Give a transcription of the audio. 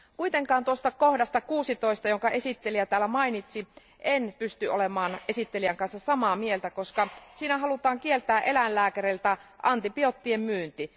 Kuitenkaan tuosta kohdasta 16, jonka esittelijä täällä mainitsi, en pysty olemaan esittelijän kanssa samaa mieltä, koska siinä halutaan kieltää eläinlääkäreiltä antibioottien myynti.